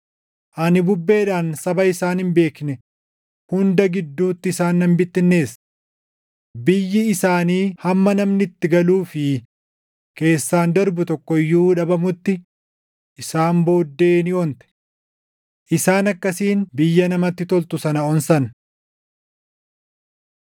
‘Ani bubbeedhaan saba isaan hin beekne hunda gidduutti isaan nan bittinneesse. Biyyi isaanii hamma namni itti galuu fi keessaan darbu tokko iyyuu dhabamutti isaan booddee ni onte. Isaan akkasiin biyya namatti toltu sana onsan.’ ”